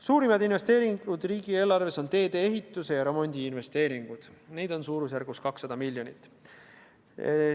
Suurimad investeeringud riigieelarves on teede ehituse ja remondi investeeringud, neid on umbes 200 miljoni euro jagu.